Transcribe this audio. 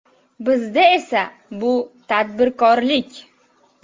Bizda esa bu tadbirkorlik.